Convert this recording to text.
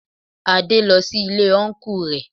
Adé lọ sí Ilé Ọnkú rẹ